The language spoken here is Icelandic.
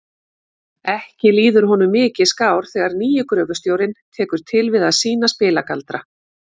Ekki líður honum mikið skár þegar nýi gröfustjórinn tekur til við að sýna spilagaldra.